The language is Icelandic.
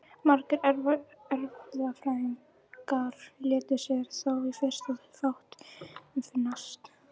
Margir erfðafræðingar létu sér þó í fyrstu fátt um finnast.